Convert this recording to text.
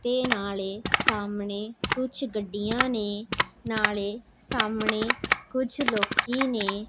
ਤੇ ਨਾਲੇ ਸਾਮਣੇ ਕੁਛ ਗਡਿਆਂ ਨੇ ਨਾਲੇ ਸਾਮਣੇ ਕੁਛ ਲੋਕੀ ਨੇ।